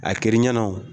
A kɛr'i ɲɛna o